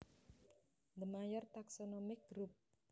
The major taxonomic group